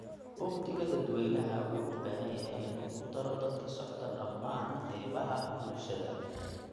Uhdhigga dadweynaha wuxuu u baahan yahay in uu ku daro dad ka socda dhammaan qaybaha bulshada.